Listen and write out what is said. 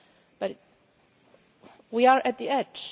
But we are at the edge.